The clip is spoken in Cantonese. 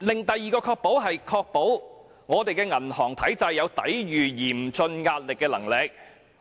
第二個"確保"是確保銀行體制有抵禦嚴峻壓力的能力。